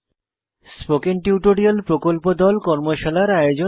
spoken tutorial প্রকল্প দল কর্মশালার আয়োজন করে